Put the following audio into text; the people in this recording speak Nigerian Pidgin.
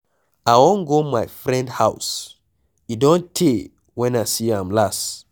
I wan go my friend house, e don tey wen I see am last.